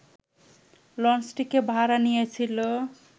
লঞ্চটিকে ভাড়া নিয়েছিল